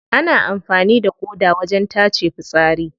Ana amfani da ƙoda wajen tace fitsari.